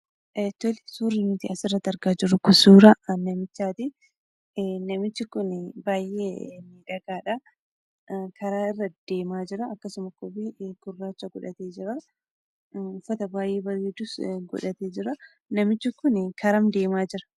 Tole, Suurri nuti asirratti argaa jirru kun suuraa namichaatii. Namichi kunii baay'ee miidhagaadha. karaa irra deemaa jira. Akkasuma koobii gurraacha godhatee jiraa. Uffata baay'ee bareedus godhatee jira. Namichi kun garam deemaa jira?